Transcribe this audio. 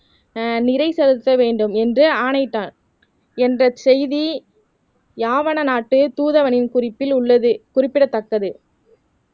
ஆஹ் நிறை செலுத்த வேண்டும் என்று ஆணைத்தார் என்ற செய்தி யாவன நாட்டு தூதவனின் குறிப்பில் உள்ளது குறிப்பிடத்தக்கது